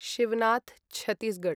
Shivnath Chhattisgarh